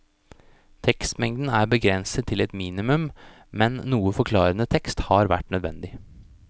Tekstmengden er begrenset til et minimum, men noe forklarende tekst har vært nødvendig.